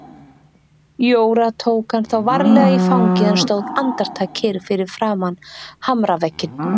Jóra tók hann þá varlega í fangið en stóð andartak kyrr fyrir framan hamravegginn.